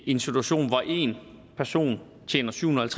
en situation hvor en person tjener syvhundrede